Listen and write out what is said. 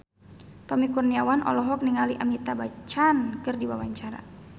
Tommy Kurniawan olohok ningali Amitabh Bachchan keur diwawancara